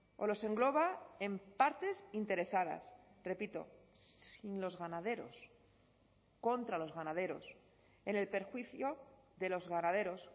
o los engloba en partes interesadas repito sin los ganaderos contra los ganaderos en el perjuicio de los ganaderos